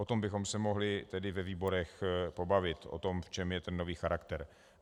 O tom bychom se mohli tedy ve výborech pobavit, o tom, v čem je ten nový charakter.